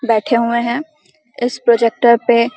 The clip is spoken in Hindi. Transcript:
बैठे हुए हैं इस प्रोजेक्टर पे --